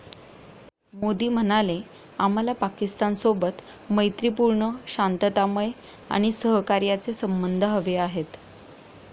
मोदी म्हणाले, आम्हाला पाकिस्तानसोबत मैत्रीपूर्ण, शांततामय आणि सहकार्याचे संबध हवे आहेत.